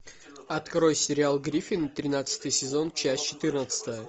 открой сериал гриффины тринадцатый сезон часть четырнадцатая